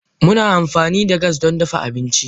Muna amfani da gas don dafa abinci.